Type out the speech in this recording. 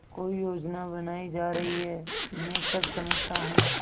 कोई योजना बनाई जा रही है मैं सब समझता हूँ